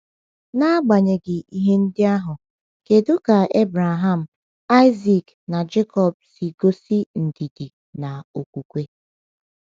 N’agbanyeghị ihe ndị ahụ, kedu ka Abraham, Isaac, na Jekọb si gosi ndidi na okwukwe?